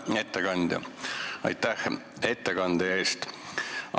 Hea ettekandja, aitäh ettekande eest!